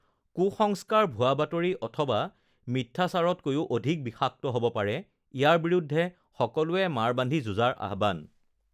কু স্ংস্কাৰ ভুৱা বাতৰি অথবা মিঠ্যাচাৰতকৈয়ো অধিক বিষাক্ত হ ব পাৰে, ইয়াৰ বিৰুদ্ধে সকলোকে মাৰ বান্ধি যুঁজাৰ আহ্বান